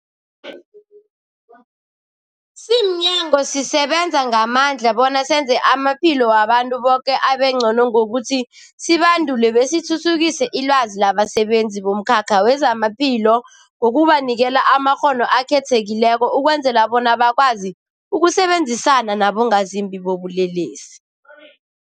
Simnyango, sisebenza ngamandla bona senze amaphilo wabantu boke abengcono ngokuthi sibandule besithuthukise ilwazi labasebenzi bomkhakha wezamaphilo ngokubanikela amakghono akhethekileko ukwenzela bona bakwazi ukusebenzisana nabongazimbi bobulelesi.